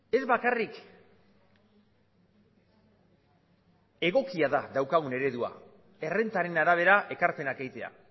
ez bakarrik egokia da daukagun eredua errentaren arabera ekarpenak egitea